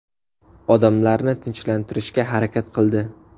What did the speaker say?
Odamlarni tinchlantirishga harakat qildi.